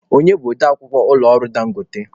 Onye bụ ode akwukwọ ụlọ ọrụ Dangote?